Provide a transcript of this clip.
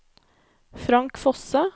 Frank Fosse